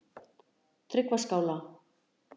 Tryggvaskála